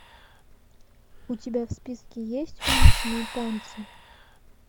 у тебя в списке есть уличные танцы